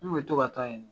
N kun bɛ to ka taa yen